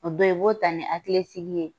O bɛɛ, i b'o ta ni hakili sigi ye